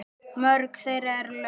Mörg þeirra eru löng.